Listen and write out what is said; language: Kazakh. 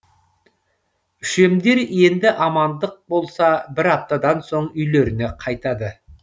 үшемдер енді амандық болса бір аптадан соң үйлеріне қайтады